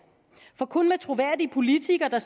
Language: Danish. for kun med troværdige politikere der